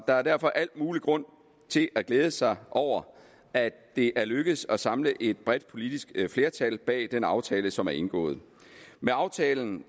er derfor al mulig grund til at glæde sig over at det er lykkedes at samle et bredt politisk flertal bag den aftale som er blevet indgået med aftalen